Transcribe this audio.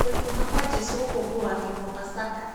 Kũriũka kwa Jesũ ngũkũngũyĩragwo pasaka.